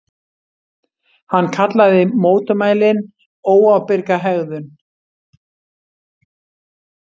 Hann kallaði mótmælin óábyrga hegðun